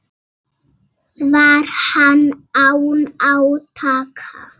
Var hann án átaka.